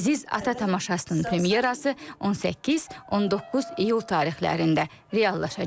Əziz ata tamaşasının premyerası 18-19 iyul tarixlərində reallaşacaq.